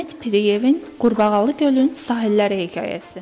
Həmid Piriyevin Qurbağalı Gölün Sahilləri hekayəsi.